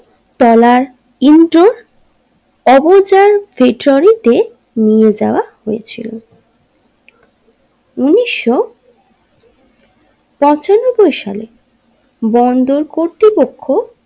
তলার ইনটু অবচার ফ্ৰেচরিতে নিয়ে যাওয়া হয়েছিল উনিশশো পঁচানব্বই সালে বন্দর কর্তৃপক্ষ।